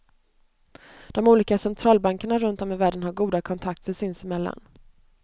De olika centralbankerna runt om i världen har goda kontakter sinsemellan.